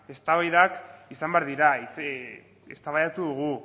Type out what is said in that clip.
eztabaidak izan behar dira eztabaidatu dugu